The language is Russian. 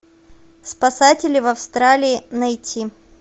спасатели в австралии найти